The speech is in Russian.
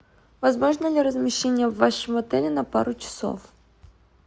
возможно ли размещение в вашем отеле на пару часов